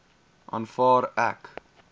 aanvaar ek